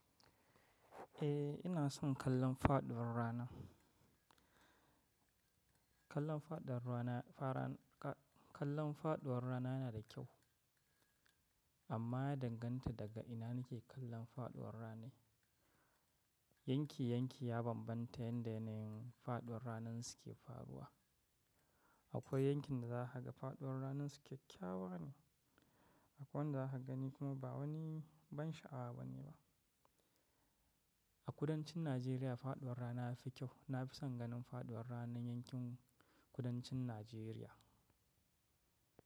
Eh, ina son kallon faɗuwar rana. Kallon faɗuwar rana, kallon faɗuwar rana yana da kyau amma ya danganta daga ina nake kallon faɗuwar ranar. Yanki yanki ya bambanta yadda yanayin faɗuwar ranar su ke faruwa. Akwai yankin da za ka ga faɗuwar ranar su kyakkyawa ne, akwai wanda za ka gani kuma ba wani ban sha'awa bane ba. A kudancin Najeriya faɗuwar rana yafi kyau. Na fi son ganin faɗuwar ranar yankin kudancin Najeriya.